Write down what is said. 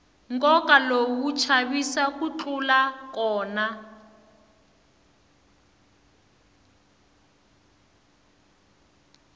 nkova lowu wa chavisa ku tlula kona